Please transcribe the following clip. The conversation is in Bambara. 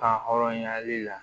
Kan hɔrɔnya la